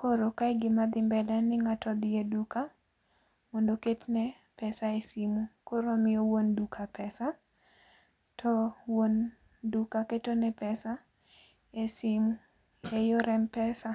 koro kae gima dhi mbele en ni ng'ato odhi eduka mondo oketne pesa e simu. Koro omiyo wuon duka pesa to wuon duka ketone pesa e simu eyor m-pesa.